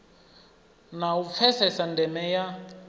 na u pfesesa ndeme ya